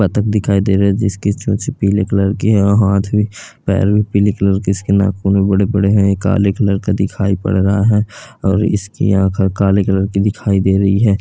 बतख दिखाई दे रही है जिसकी चोंच पीले कलर की है और हाथ भी पैर भी पीले कलर के इसके नाखून भी बड़े-बड़े हैं यह काले कलर का दिखाइ पड़ रहा है और इसकी आंख काले कलर के दिखाई दे रही है।